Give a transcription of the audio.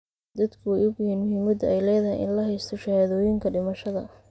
Dadku way ogyihiin muhiimadda ay leedahay in la haysto shahaadooyinka dhimashada.